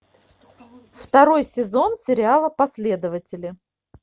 второй сезон сериала последователи